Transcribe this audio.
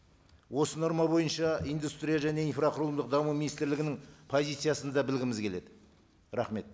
осы норма бойынша индустрия және инфрақұрылымдық даму министрлігінің позициясын да білгіміз келеді рахмет